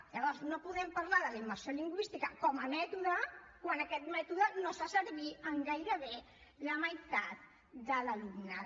llavors no podem parlar de la immersió lingüística com a mètode quan aquest mètode no es fa servir en gairebé la meitat de l’alumnat